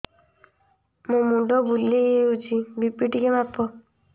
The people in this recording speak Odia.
ମୋ ମୁଣ୍ଡ ବୁଲେଇ ହଉଚି ବି.ପି ଟିକେ ମାପ